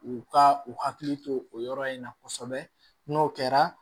U ka u hakili to o yɔrɔ in na kosɛbɛ n'o kɛra